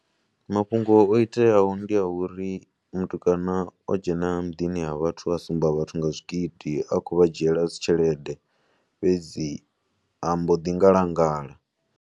Mafhungo o iteaho ndi a uri mutukana o dzhena muḓini wa vhathu a sumba vhathu nga zwigidi a khou vha dzhiela dzi tshelede fhedzi a mbo ḓi ngalangala.